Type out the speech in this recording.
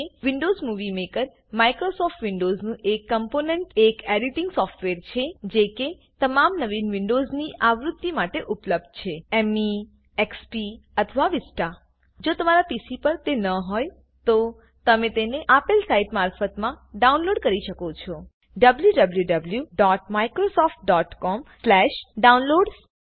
Windows Movie Maker Microsoft વિન્ડોવ્ઝનું એક component એક એડીટીંગ સોફ્ટવેર છે જે કે તમામ નવીન વિન્ડોવ્ઝની આવૃત્તિ માટે ઉપલબ્ધ છે મે એક્સપી અથવા વિસ્તા જો તમારા પીસી પર તે ન હોય તો તમે તેને આપેલ સાઈટથી મફતમાં ડાઉનલોડ કરી શકો છો wwwmicrosoftcomdownloads